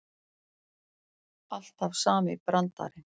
Alltaf sami brandarinn.